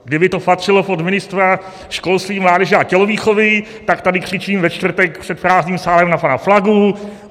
Kdyby to patřilo pod ministra školství, mládeže a tělovýchovy, tak tady křičím ve čtvrtek před prázdným sálem na pana Plagu.